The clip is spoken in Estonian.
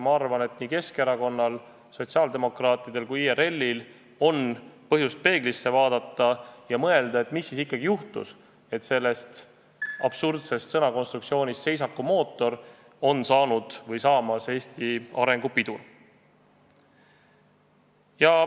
Ma arvan, et nii Keskerakonnal, sotsiaaldemokraatidel kui ka IRL-il on põhjust peeglisse vaadata ja mõelda, mis siis ikkagi juhtus, et sellest absurdsest sõnakonstruktsioonist "seisakumootor" on saanud või saamas Eesti arengupidur.